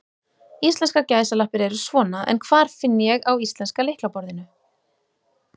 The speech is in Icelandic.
Íslenskar gæsalappir eru svona, en hvar finn ég á íslenska lyklaborðinu?